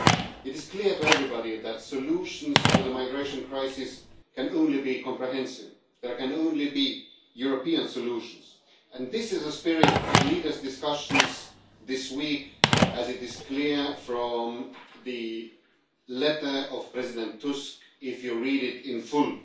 It is clear to everybody that solutions to the migration crisis can only be comprehensive. There can only be European solutions, and this is the spirit of leaders' discussions this week as is clear from the letter of President Tusk, if you read it in full.